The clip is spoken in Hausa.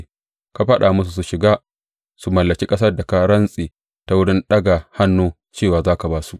Ka faɗa musu su shiga su mallaki ƙasar da ka rantse ta wurin ɗaga hannu cewa za ka ba su.